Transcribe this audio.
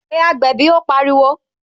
Pé agbẹ̀bí " ó pariwo